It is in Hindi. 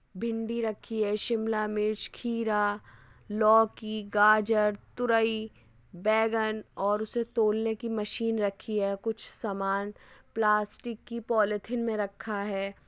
भिंडी रखी है शिमला मिर्च खीरा लोकी गाजर तुरई बैगन और उसे तोलने कि मशीन रखी है। कुछ समान प्लास्टिक कि पॉलीथिन मे रखा है।